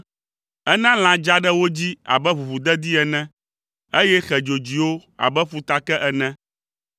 Ena lã dza ɖe wo dzi abe ʋuʋudedi ene, eye xe dzodzoewo abe ƒutake ene.